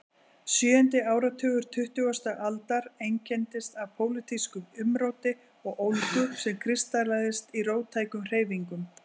Sjöundi áratugur tuttugustu aldar einkenndist af pólitísku umróti og ólgu sem kristallaðist í róttækum hreyfingum.